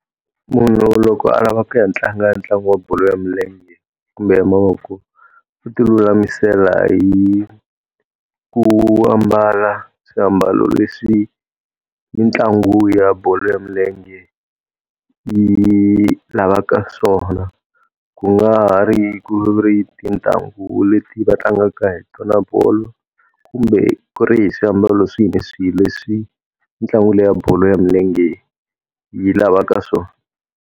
Munhu loko a lava ku ya tlanga ntlangu ya bolo ya milenge kumbe ya mavoko, u ti lulamisela hi ku ambala swiambalo leswi mitlangu ya bolo ya milenge yi lavaka swona. Ku nga ha ri ku ri tintangu leti va tlangaka hi tona bolo, kumbe ku ri hi swiambalo swihi ni swihi leswi ntlangu leyi ya wa bolo ya milenge yi lavaka swona.